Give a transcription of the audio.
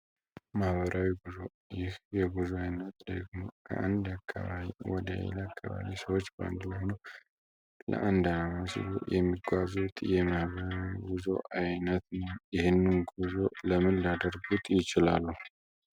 የማህበራዊ ጉዞ ይህ የጉዙ አይነት ደግሞ ከአንድ አካባቢ ወደ ሌለ አካባቢ ሰዎች በአንድ ሆኑ ለአንድ መስሉ የሚጓዙት የማህበራዊ ጉዞ አይነት ይህንን ጉዞ ለምን ሊደርጉት ይችላሉ?